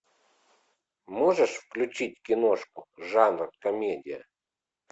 можешь включить киношку жанр комедия